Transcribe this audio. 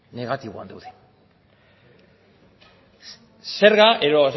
negatiboan daude zerga edo